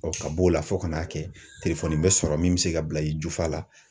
ka b'o la fo ka n'a kɛ bɛ sɔrɔ min bɛ se ka bila i jufa la.